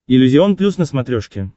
иллюзион плюс на смотрешке